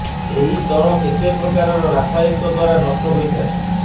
ଏହି ସ୍ତର କେତେ ପ୍ରକାରର ରାସାୟନିକ ଦ୍ୱାରା ନଷ୍ଟ ହୋଇଥାଏ